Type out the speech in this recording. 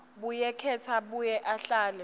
buyeketa abuye ahlele